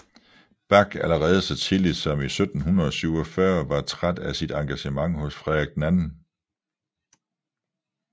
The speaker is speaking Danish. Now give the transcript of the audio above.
Bach allerede så tidligt som 1747 var træt af sit engagement hos Frederik den II